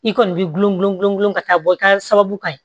I kɔni b'i gulɔ gulɔ gulɔ gulɔ ka taa bɔ i ka sababu ka ɲi